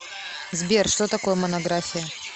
сбер что такое монография